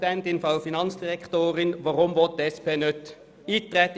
Weshalb will die SP nicht auf das StG eintreten?